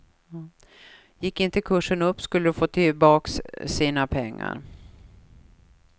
Gick inte kursen upp skulle de få tillbaks sina pengar.